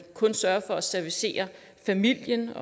kun sørger for at servicere familien